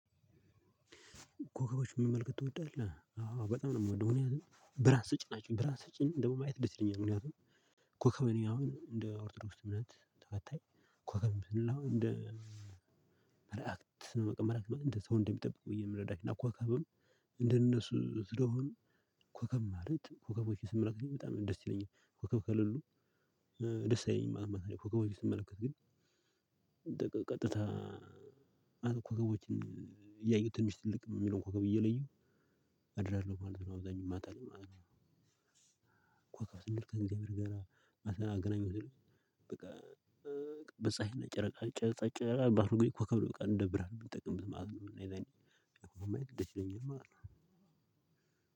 ኮከቦችን መመልከት ትወጣለህ? አዎ በጣም ነው የምወደው። ምክንያቱም ብርሃን ስጭ ናቸው። ብርሃን ስጭን ደግሞ ማየት ደስ ይለኛል። ምክንያቱም ኮከብ እኔጨአሁን እንደ ኦርቶዶክስ እምነት ተከታይ ኮከብ እንደ መላእክት ነው እንደ ሰው እንደሚጠብቁ የምረዳቸው። እና ኮከብም እንደነሱ ስለሆኑ ኮከብ ማለት ኮከቦችን ስመለከት በጣም ደስ ይለኛል። ኮከብ ከልሉ ደስ አይለኝም ማለት ነው። ኮከቦችን ስመለከት ግን ቀጥታ ኮከቦችን እያየሁ ትንሽ ትልቅ የሚለውን ኮከብ እየለየሁ አድራለሁ ማለት ነው። አብዛኛው ማታ ላይ ማለት ነው። ኮከብ ስንል ትልቅ ከእንግዲህ አገናኝ በቃ በጸሀይና ጨረቃ ጨረቃ በሆነ ጊዜ ኮከብ ነው እንደ ብርሃን የምንጠቀምበት ማለት ነው። ማየት ደስ ይለኛል ማለት ነው።